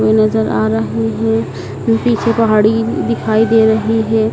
कोई नजर आ रहे हैं अह पीछे पहाड़ी दिखाई दे रही है।